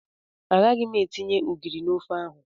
Agaghị m etinye ogiri na ofe ahụ.